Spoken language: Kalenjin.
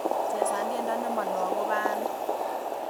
Chesan tyendo nemalo agoba ane